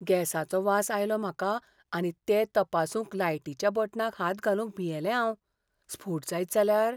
गॅसाचो वास आयलो म्हाका आनी तें तपासूंक लायटीच्या बटनाक हात घालूंक भियेलें हांव. स्फोट जायत जाल्यार!